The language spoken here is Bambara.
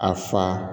A fa